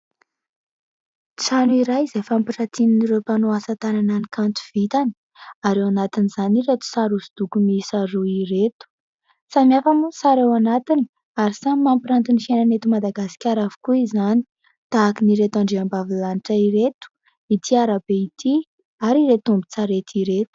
Trano iray izay fampiratin'ireo mpanao asan-tànana ny kanto vitany; ary ao anatin'izany ireto sary hosodoko miisa roa ireto. Samihafa moa ny sary ao anatiny, ary samy mampiranty ny fiainana eto Madagasikara avokoa izany. Tahakan'ireto andriambavilanitra ireto, ity arabe ity, ary ireto ombin-tsarety ireto.